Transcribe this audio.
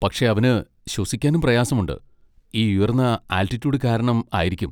പക്ഷെ അവന് ശ്വസിക്കാനും പ്രയാസമുണ്ട്, ഈ ഉയർന്ന ആൾട്ടിട്യൂഡ് കാരണം ആയിരിക്കും.